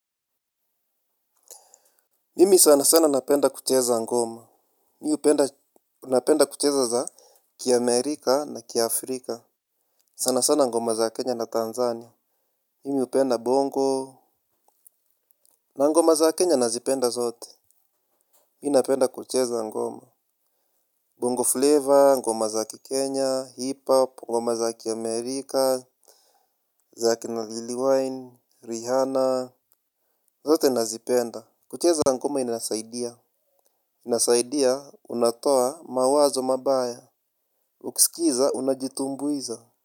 Mimi sana sana napenda kucheza ngoma. Mi hupenda napenda kucheza za Ki Amerika na kia Afrika sana sana ngoma za Kenya na Tanzania. Mimi hupenda bongo. Na ngoma za Kenya nazipenda zote. Mi napenda kucheza ngoma Bongo Flavor, ngoma za kikenya, hip hop, ngoma za kia Amerika, za kina Liliwine, Rihanna. Zote nazipenda. Kucheza ngoma inasaidia. Inasaidia unatoa mawazo mabaya ukiskiza unajitumbuiza.